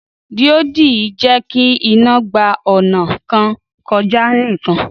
Díòdì jẹ́kí iná gba ọnà kan kọjá nìkan